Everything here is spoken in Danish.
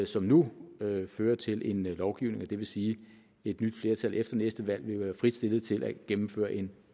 som nu fører til en lovgivning og det vil sige at et nyt flertal efter næste valg vil være frit stillet til at gennemføre en